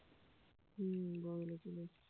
হুঁ